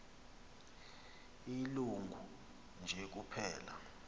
ilungu nje kuphela